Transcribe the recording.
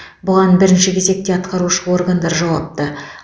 бұған бірінші кезекте атқарушы органдар жауапты